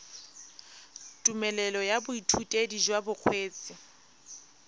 tumelelo ya boithutedi jwa bokgweetsi